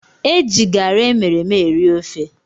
Eji garri emereme eri ofe